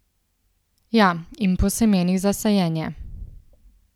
Ja, in po semenih za sajenje.